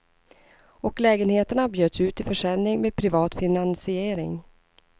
Och lägenheterna bjöds ut till försäljning med privat finansiering.